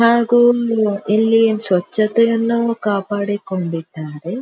ಹಾಗು ಎಲ್ಲಿ ಸ್ವಚ್ಛತೆಯನ್ನು ಕಾಪಾಡಿ ಕೊಂಡಿದ್ದಾರೆ.